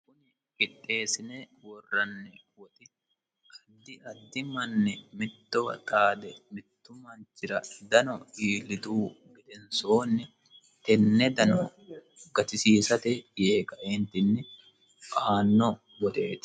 Qixxesine worranni woxxi addi addi manni mittowa xaade mittu manichira dano ilituhu gedenisonni tenne danora gattisissate Yee kaeniteni aano woxetti